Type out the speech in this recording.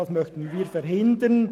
Das möchten wir verhindern.